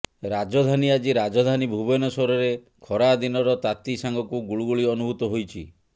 ରାଜଧାନୀ ଆଜି ରାଜଧାନୀ ଭୁବନେଶ୍ୱରରେ ଖରାଦିନର ତାତି ସାଙ୍ଗକୁ ଗୁଳୁଗୁଳି ଅନୁଭୂତ ହୋଇଛି